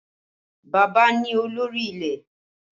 Bàbá ni olórí ilé